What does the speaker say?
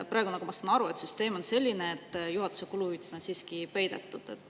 Praegu, nagu ma aru saan, on selline süsteem, et juhatuse kuluhüvitised on siiski peidetud.